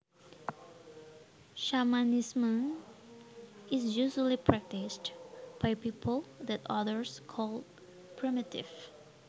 Shamanism is usually practiced by people that others call primitive